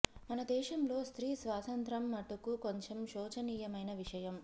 మన దేశం లో స్త్రీ స్వాతంత్ర్యం మటుకు కొంచెం శోచనీయమైన విషయం